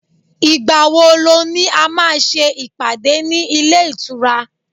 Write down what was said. igbawo lo ni a má ṣe ìpàdé ní ile itura